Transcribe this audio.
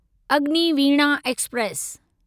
Agniveena express